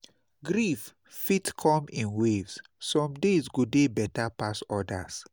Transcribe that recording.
Grief fit come in waves; some days go dey better pass odas.